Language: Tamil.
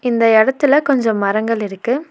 இந்த எடத்துல கொஞ்சோ மரங்கள் இருக்கு.